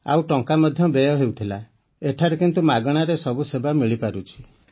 ଆଉ ଟଙ୍କା ମଧ୍ୟ ବ୍ୟୟ ହେଉଥିଲା ଏଠାରେ କିନ୍ତୁ ନିଃଶୁଳ୍କରେ ସବୁ ସେବା ମିଳିପାରୁଛି